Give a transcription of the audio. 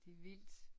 Det vildt